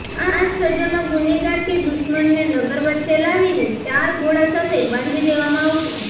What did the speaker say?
આ સજામાં ગુનેગાર કે દુશ્મનને નગર વચ્ચે લાવીને ચાર ઘોડા સાથે બાંધી દેવામાં આવતો